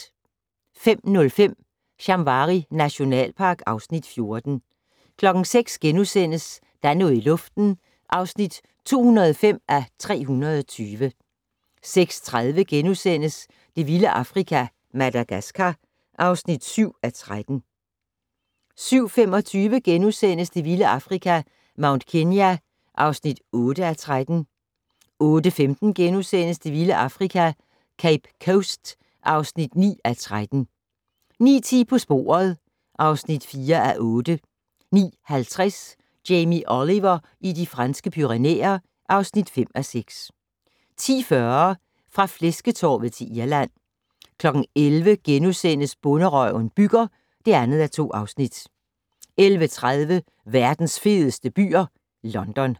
05:05: Shamwari nationalpark (Afs. 14) 06:00: Der er noget i luften (205:320)* 06:30: Det vilde Afrika - Madagaskar (7:13)* 07:25: Det vilde Afrika - Mount Kenya (8:13)* 08:15: Det vilde Afrika - Cape Coast (9:13)* 09:10: På sporet (4:8) 09:50: Jamie Oliver i De Franske Pyrenæer (5:6) 10:40: Fra flæsketorvet til Irland 11:00: Bonderøven bygger (2:2)* 11:30: Verdens fedeste byer - London